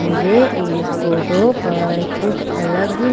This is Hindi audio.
मुझे इस फोटो पर कुछ अलग--